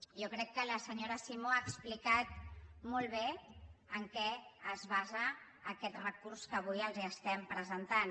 jo crec que la senyora simó ha explicat molt bé en què es basa aquest recurs que avui els presentem